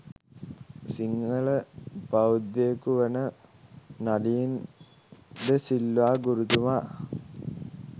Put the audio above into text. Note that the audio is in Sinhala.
සිංහල බෞද්ධයකු වන නලින් ද සිල්වා ගුරුතුමා